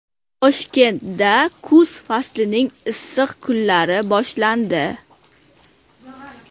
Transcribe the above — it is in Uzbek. Toshkentda kuz faslining issiq kunlari boshlandi.